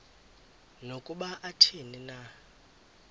nokuba athini na